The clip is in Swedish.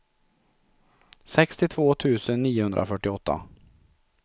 sextiotvå tusen niohundrafyrtioåtta